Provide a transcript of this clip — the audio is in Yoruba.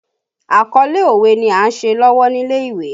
Àkọlé òwe ni a ń ṣe lọ́wọ́ nílé ìwé